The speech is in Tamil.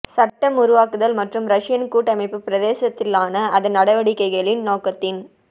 சட்டம் உருவாக்குதல் மற்றும் ரஷியன் கூட்டமைப்பு பிரதேசத்திலான அதன் நடவடிக்கைகளின் நோக்கத்தின்